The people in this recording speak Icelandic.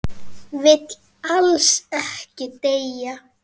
Vill alls ekki deyja.